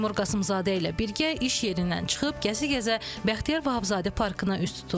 Seymur Qasımzadə ilə birgə iş yerindən çıxıb gəzə-gəzə Bəxtiyar Vahabzadə parkına üz tuturuq.